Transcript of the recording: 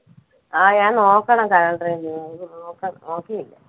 ആ ഞാൻ നോക്കണം calender ല് എനിക്ക് നോക്കാൻ, നോക്കിയില്ല.